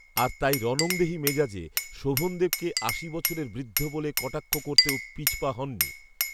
আর তাই রণংদেহী মেজাজে শোভনদেবকে'আশি বছরের বৃদ্ধ' বলে কটাক্ষ করতেও পিছপা হননি